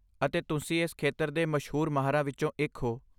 ਅਤੇ, ਤੁਸੀਂ ਇਸ ਖੇਤਰ ਦੇ ਮਸ਼ਹੂਰ ਮਾਹਰਾਂ ਵਿੱਚੋਂ ਇੱਕ ਹੋ।